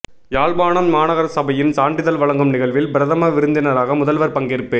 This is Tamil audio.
யாழ்ப்பாணம் மாநகரசபையின் சான்றிதழ் வழங்கும் நிகழ்வில் பிரதம விருந்தினராக முதல்வர் பங்கேற்பு